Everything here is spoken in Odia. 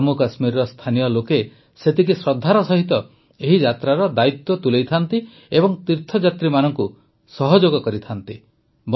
ଜାମ୍ମୁକାଶ୍ମୀରର ସ୍ଥାନୀୟ ଲୋକେ ସେତିକି ଶ୍ରଦ୍ଧାର ସହିତ ଏହି ଯାତ୍ରାର ଦାୟିତ୍ୱ ତୁଲାଇଥାନ୍ତି ଏବଂ ତୀର୍ଥଯାତ୍ରୀମାନଙ୍କୁ ସହଯୋଗ କରିଥାନ୍ତି